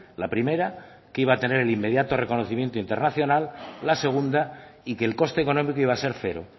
la primera que iba a tener el inmediato reconocimiento internacional la segunda y que el coste económico iba a ser cero